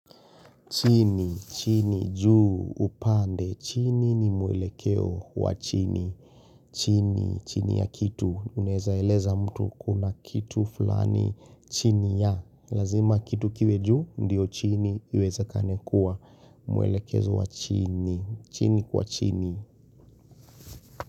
Chini, chini, juu, upande, chini ni mwelekeo wa chini, chini, chini ya kitu, unezaeleza mtu kuna kitu fulani, chini ya, lazima kitu kiwe juu, ndio chini, iweze kanekua, mwelekezo wa chini, chini kwa chini.